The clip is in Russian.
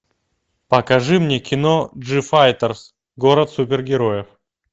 покажи мне кино джифайтерс город супергероев